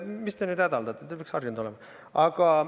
Mis te nüüd hädaldate, te peaks harjunud olema!